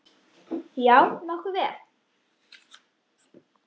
Já, nokkuð vel.